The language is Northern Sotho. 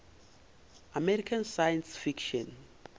american science fiction